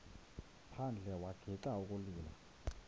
phandle wagixa ukulila